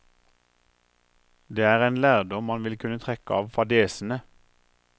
Det er en lærdom man vil kunne trekke av fadesene.